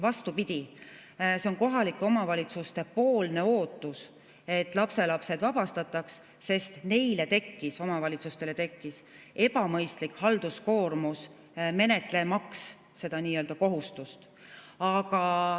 Vastupidi, see on kohalike omavalitsuste ootus, et lapselapsed sellest vabastatakse, sest omavalitsustele tekkis ebamõistlik halduskoormus, menetlemaks seda nii-öelda kohustust.